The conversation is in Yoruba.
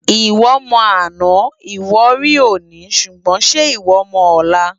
Iwò mò àná iwò ri óni ṣúgbòn ṣè iwò mò òlá?